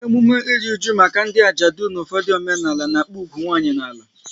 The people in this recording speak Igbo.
Emume ịrụ ụju maka ndị ajadu n'ufodu omenala n'akpu ugwu nwanyị n'ala